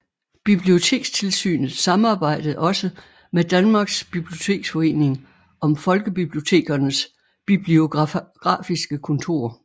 Bibliotekstilsynet samarbejdede også med Danmarks Biblioteksforening om Folkebibliotekernes Bibliografiske Kontor